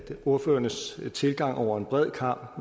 ordførernes tilgang over en bred kam